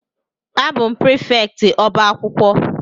A bụ m prịfèktị ọbá akwụkwọ